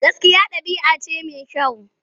Gaskiya ɗabi'a ce mai kyau.